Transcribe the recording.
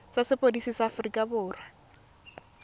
tsa sepodisi sa aforika borwa